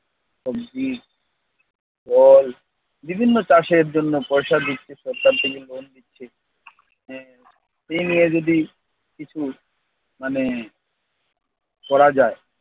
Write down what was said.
সবজি ফল বিভিন্ন চাষের জন্য পয়সা দিচ্ছে সরকার থেকে, লোন দিচ্ছে। আহ এই নিয়ে যদি কিছু মানে করা যায়।